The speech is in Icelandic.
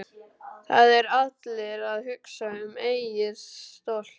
Það eru allir að hugsa um eigið stolt.